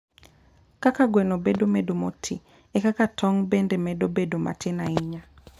Kaka gweno medo bedo moti, e kaka tong' bende medo bedo matin ahinya